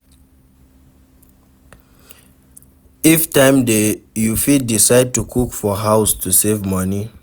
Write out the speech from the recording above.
If time dey you fit decide to cook for house to save money